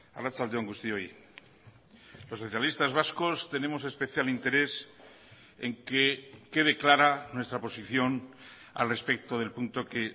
arratsalde on guztioi los socialistas vascos tenemos especial interés en que quede clara nuestra posición al respecto del punto que